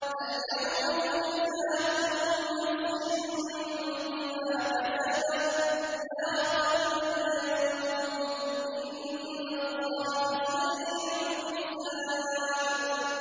الْيَوْمَ تُجْزَىٰ كُلُّ نَفْسٍ بِمَا كَسَبَتْ ۚ لَا ظُلْمَ الْيَوْمَ ۚ إِنَّ اللَّهَ سَرِيعُ الْحِسَابِ